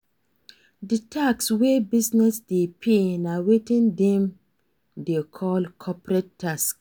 Di tax wey business dey pay na wetin dem dey call corporate tax